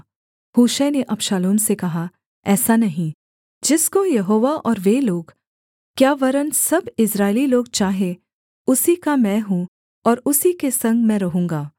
हूशै ने अबशालोम से कहा ऐसा नहीं जिसको यहोवा और वे लोग क्या वरन् सब इस्राएली लोग चाहें उसी का मैं हूँ और उसी के संग मैं रहूँगा